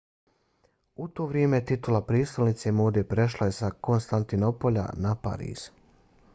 u to vrijeme titula prijestolnice mode prešla je sa konstantinopolja na pariz